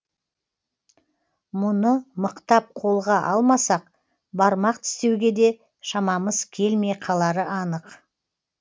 мұны мықтап қолға алмасақ бармақ тістеуге де шамамыз келмей қалары анық